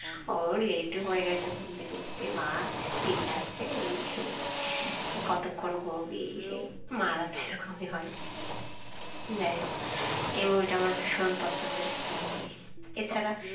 ও late হয়ে গেছে, ঘুম থেকে উঠতে মা চিল্লাচ্ছে এই সেই কতক্ষণ ঘুমাবি এই সেই মারা তো এরকমই হয়। যাই হোক এই movie ভীষণ পছন্দের একটা movie এছাড়া